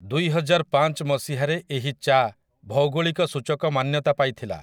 ଦୁଇହଜାରପାଞ୍ଚ ମସିହା ରେ ଏହି ଚା ଭୌଗୋଳିକ ସୂଚକ ମାନ୍ୟତା ପାଇଥିଲା ।